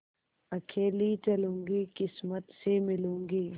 अकेली चलूँगी किस्मत से मिलूँगी